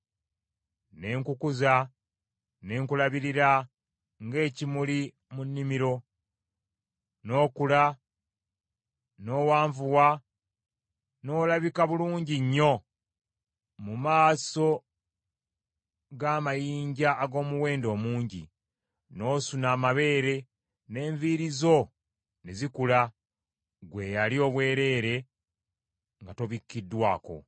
Ne nkukuza ne nkulabirira ng’ekimuli mu nnimiro. N’okula n’owanvuwa n’olabika bulungi nnyo mu maaso ng’amayinja ag’omuwendo omungi; n’osuna amabeere, n’enviiri zo ne zikula, ggwe eyali obwereere nga tobikkiddwako.